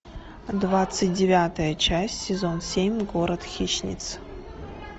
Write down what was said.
двадцать девятая часть сезон семь город хищниц